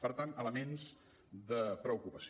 per tant elements de preocupació